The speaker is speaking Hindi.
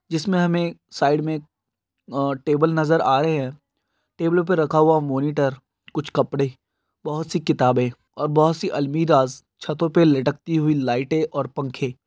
जिस मे हमे साइड मे टेबल नजर आ रहे हे। टेबल पर रखा हुवा मॉनिटर कुछ कपड़े बहुत सी किताबे और बहुत सी अलमिराज छतों पे लटकती हुई लाइटेऔर पंखे--